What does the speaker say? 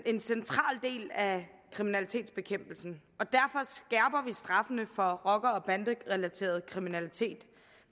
er en central del af kriminalitetsbekæmpelsen og vi straffene for rocker og banderelateret kriminalitet